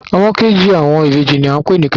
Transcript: Ọmọ kejì àwọn ìbejì ní à ń pè ní Kẹ́hìndẹ́